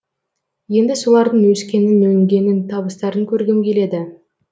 енді солардың өскенін өнгенін табыстарын көргім келеді